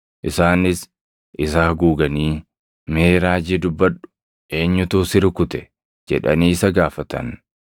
Isaanis isa haguuganii, “Mee raajii dubbadhu! Eenyutu si rukute?” jedhanii isa gaafatan.